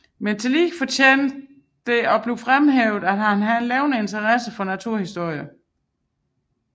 Men tillige fortjener at fremhæves hans levende interesse for naturhistorien